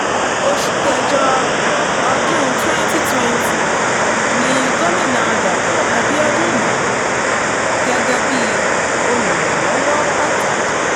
oṣù kẹjọ ọdún twenty twenty y ni gomina dapò abiodun yan án gẹ́gẹ́ bíi olùrànlọ́wọ́ pàtàkì